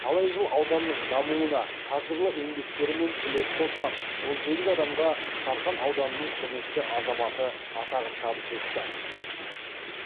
талай жыл ауданның дамуына қажырлы еңбектерімен үлес қосқан он сегіз адамға сарқан ауданының құрметті азаматы атағын табыс етті